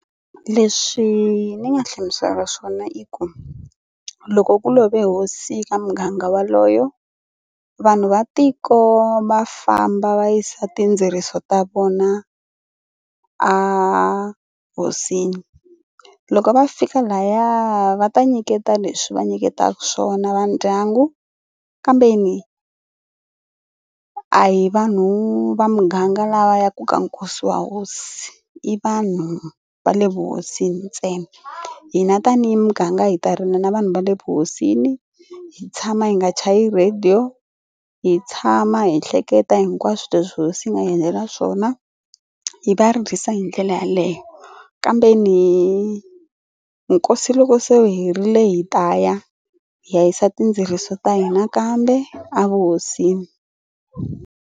Leswi ni nga hlamuselaka swona i ku loko ku love hosi ka muganga waloyo vanhu va tiko va famba va yisa tindzeriso ta vona a hosini. Loko va fika lahaya va ta nyiketa leswi va nyiketaka swona va ndyangu kambeni a hi vanhu va muganga lava ya ku ka nkosi wa hosi i vanhu va le vuhosini ntsena. Hina tanihi muganga hi ta rila na vanhu va le vuhosini hi tshama hi nga chayi radio. Hi tshama hi hleketa hinkwaswo leswi hosi yi nga hi endlela swona hi va ririsa hi ndlela yaleyo kambeni nkosi loko se wu herile hi ta ya hi ya yisa tindzeriso ta hina nakambe a vuhosini.